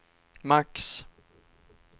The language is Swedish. max